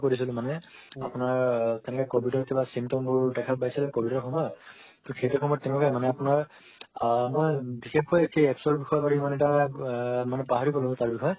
কৰিছিলো মানে আপোনাৰ তেনেকা covid ৰ কিবা symptoms পাইছে covid ৰ সময়ত সেইটো সময় তেনেকুৱাই মানে আপোনাৰ আ নহয় বিশেষকয়ে পাহৰি গলো তাৰ বিষয়ে